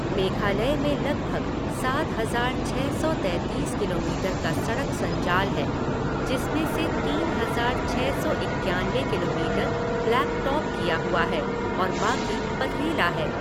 मेघालय में लगभग सात हज़ार छ सौ तैंतीस किलोमीटर का सड़क संजाल है जिसमें से तीन हज़ार छह सौ इक्यानबे किलोमीटर ब्लैक टॉप किया हुआ है और बाकी पथरीला है।